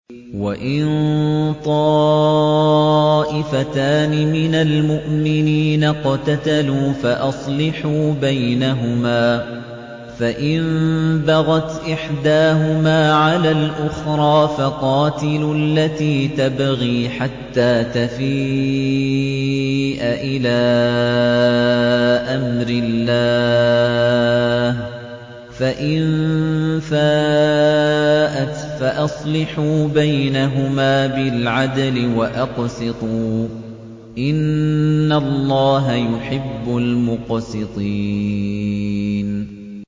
وَإِن طَائِفَتَانِ مِنَ الْمُؤْمِنِينَ اقْتَتَلُوا فَأَصْلِحُوا بَيْنَهُمَا ۖ فَإِن بَغَتْ إِحْدَاهُمَا عَلَى الْأُخْرَىٰ فَقَاتِلُوا الَّتِي تَبْغِي حَتَّىٰ تَفِيءَ إِلَىٰ أَمْرِ اللَّهِ ۚ فَإِن فَاءَتْ فَأَصْلِحُوا بَيْنَهُمَا بِالْعَدْلِ وَأَقْسِطُوا ۖ إِنَّ اللَّهَ يُحِبُّ الْمُقْسِطِينَ